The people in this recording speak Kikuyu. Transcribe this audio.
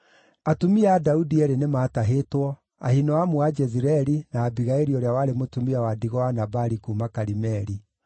Atumia a Daudi eerĩ nĩmatahĩtwo, Ahinoamu wa Jezireeli, na Abigaili ũrĩa warĩ mũtumia wa ndigwa wa Nabali kuuma Karimeli.